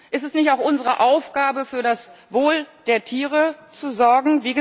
Ist es nicht auch unsere Aufgabe, für das Wohl der Tiere zu sorgen?